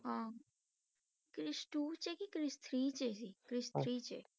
ਹਾਂ ਕ੍ਰਿਸ two 'ਚ ਕਿ ਕ੍ਰਿਸ three 'ਚ ਸੀ ਕ੍ਰਿਸ three 'ਚ